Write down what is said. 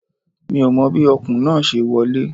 Mi ò mọ bí Ọ̀kùn náà ṣe wọlé